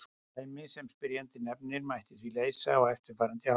Dæmið sem spyrjandi nefnir mætti því leysa á eftirfarandi hátt.